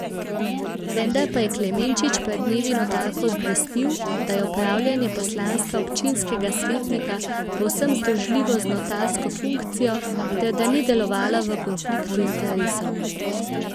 Vendar pa je Klemenčič pred dnevi notarko obvestil, da je opravljanje poslanstva občinskega svetnika povsem združljivo z notarsko funkcijo ter da ni delovala v konfliktu interesov.